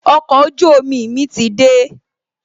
Okọ̀ ojú omi mi ti dé